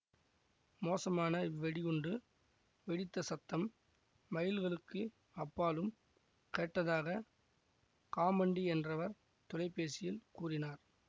மோசமான இவ்வெடிகுண்டு வெடித்த சத்தம் மைல்களுக்கு அப்பாலும் கேட்டதாக காமண்டி என்றவர் தொலைபேசியில் கூறினார்